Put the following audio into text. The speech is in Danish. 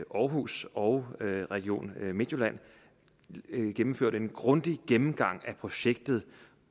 aarhus og region midtjylland gennemførte en grundig gennemgang af projektet